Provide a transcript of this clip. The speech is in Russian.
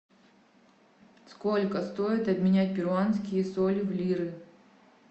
сколько стоит обменять перуанские соли в лиры